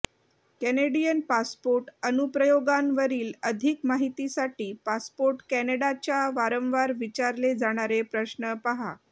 Canadian passport अनुप्रयोगांवरील अधिक माहितीसाठी पासपोर्ट कॅनडाच्या वारंवार विचारले जाणारे प्रश्न पहा